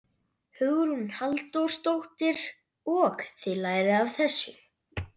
Hugrún Halldórsdóttir: Og þið lærið af þessu?